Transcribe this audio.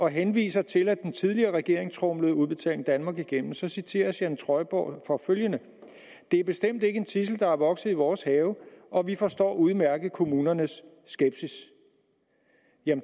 henviser til at den tidligere regering tromlede udbetaling danmark igennem så citeres jan trøjborg for følgende det er bestemt ikke en tidsel der er vokset i vores have og vi forstår udmærket kommunernes skepsis